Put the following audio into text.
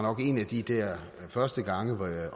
nok en af de der første gange hvor jeg